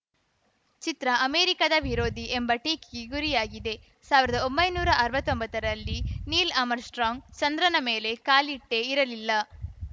ಚಿತ್ರ ಅಮೆರಿಕದ ವಿರೋಧಿ ಎಂಬ ಟೀಕೆಗೆ ಗುರಿಯಾಗಿದೆ ಸಾವಿರದ ಒಂಬೈನೂರಾ ಅರ್ವತ್ತೊಂಬತ್ತರಲ್ಲಿ ನೀಲ್‌ ಆಮ್‌ರ್‍ಸ್ಟ್ರಾಂಗ್‌ ಚಂದ್ರನ ಮೇಲೆ ಕಾಲಿಟ್ಟೇ ಇರಲಿಲ್ಲ